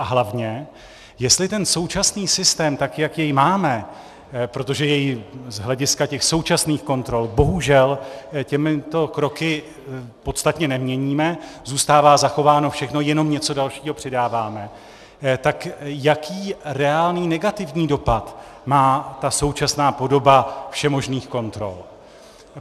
A hlavně, jestli ten současný systém, tak jak jej máme, protože jej z hlediska těch současných kontrol bohužel těmito kroky podstatně neměníme, zůstává zachováno všechno, jenom něco dalšího přidáváme, tak jaký reálný negativní dopad má ta současná podoba všemožných kontrol.